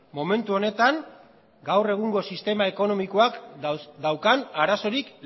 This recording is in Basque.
momentu honetan gaur egungo sistema ekonomikoak daukan arazorik